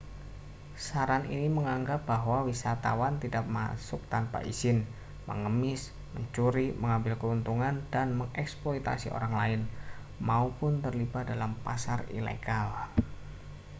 saran ini menganggap bahwa wisatawan tidak masuk tanpa izin mengemis mencuri mengambil keuntungan dengan mengeksploitasi orang lain maupun terlibat dalam pasar ilegal